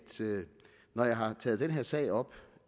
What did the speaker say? når jeg har taget denne her sag op